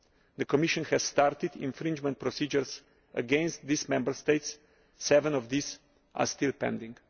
The Commission has started infringement procedures against these Members States seven of these are still pending.